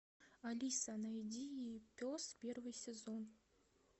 алиса найди пес первый сезон